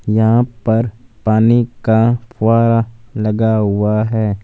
यहां पर पानी का फुआरा लगा हुआ है।